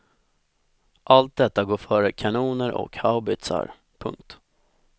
Allt detta går före kanoner och haubitsar. punkt